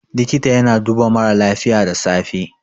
likita yana duba mara lafiya da safe